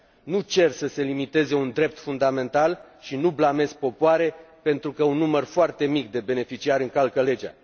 Nu cer să se limiteze un drept fundamental și nu blamez popoare, pentru că un număr foarte mic de beneficiari încalcă legea.